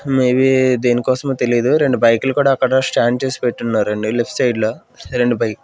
maybe దేనికోసమో తెలీదు రెండు బైకులు కూడా అక్కడ స్టాండ్ చేసి పెట్టున్నారు అండి లెఫ్ట్ సైడ్ లో రెండు బైక్ --